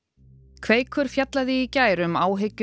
kveikur fjallaði í gær um áhyggjur